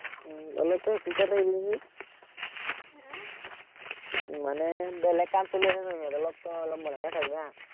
উম অলপ তই চুপ-চাপ থাকিবি চোন মানে বেলেগ কাম চলি আছে যে, ইয়াত তই অলপ মনে মনে থাকিবি হা